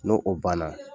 N'o o banna